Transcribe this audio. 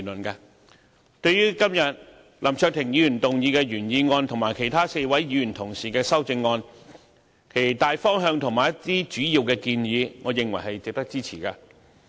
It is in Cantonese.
對於今天林卓廷議員動議的原議案和其他4位議員同事的修正案，其大方向和一些主要的建議，我認為是值得支持的。